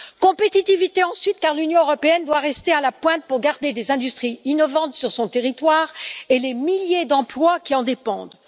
Compétitivité ensuite, car l'Union européenne doit rester à la pointe pour garder des industries innovantes sur son territoire et les milliers d'emplois qui en dépendent.